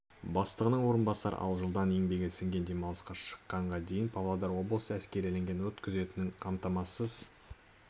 бастығының орынбасары ал жылдан еңбегі сіңген демалысқа шыққанға дейін павлодар облысы әскериленген өрт күзетінің қамтамасыз